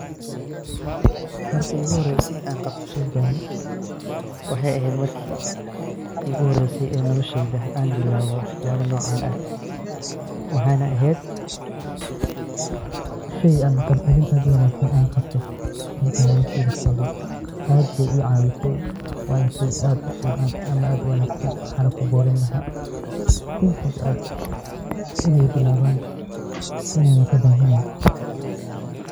Marki iigu horeyse aan qabto sheygani, waxeey eheed marki iigu horeyse nolosheyda aan bilaabo wax yaaba noocan ah, waxeey na eheed sheey aad uwanagsan aan qabto, intaan nolosheyda jooge aad ayeey ii caawise, waana sheey aad ufican ama aad uwanagsan, waxaana kuboorin lahaa inta jecel ineey bilaaban ineey kadaahin oo aay ciyoow bilaaban.